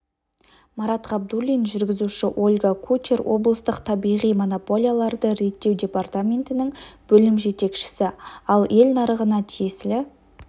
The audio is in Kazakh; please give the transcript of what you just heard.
марат ғабдуллин жүргізуші ольга кучер облыстық табиғи монополияларды реттеу департаментінің бөлім жетекшісі ал ел нарығына тиесілі